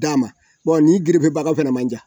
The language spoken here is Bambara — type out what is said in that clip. d'a ma, wa nin gerefebaga fana man ca